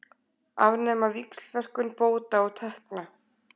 Afnema víxlverkun bóta og tekna